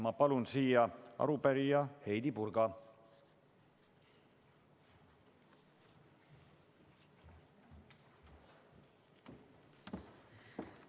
Ma palun siia arupärija Heidy Purga!